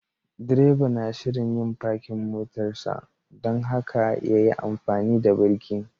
Direba na shirin yin parking motarsa dan haka ya yi amfani da birki.